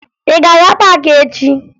Ị ga-aga paakị echi!